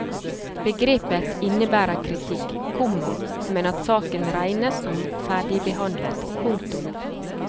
Begrepet innebærer kritikk, komma men at saken regnes som ferdigbehandlet. punktum